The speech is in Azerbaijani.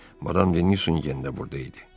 Madam Denizun yenə də burda idi.